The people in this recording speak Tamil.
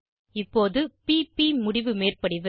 இப்போது p ப் முடிவு மேற்படிவு